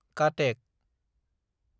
Cuttack